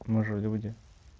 мы же люди